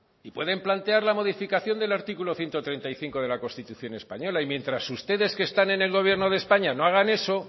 y pueden plantear la modificación del artículo ciento treinta y cinco de la constitución española y mientras ustedes que están en el gobierno de españa no hagan eso